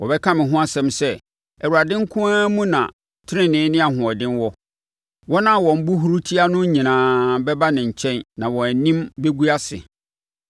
Wɔbɛka me ho asɛm sɛ, ‘ Awurade nko ara mu na tenenee ne ahoɔden wɔ.’ ” Wɔn a wɔn bo huru tia no nyinaa bɛba ne nkyɛn na wɔn anim bɛgu ase.